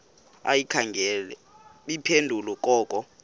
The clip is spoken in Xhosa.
ayikhange iphendule koko